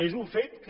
és un fet que